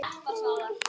Mega veikir búa þar?